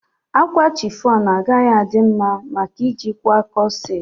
Akwa chiffon agaghị adị mma maka ị ji kwaa kọset